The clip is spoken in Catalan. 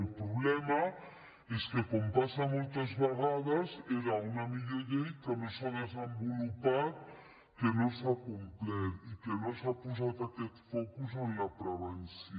el problema és que com passa moltes vegades era una millor llei que no s’ha desenvolupat que no s’ha complert i no s’ha posat aquest focus en la prevenció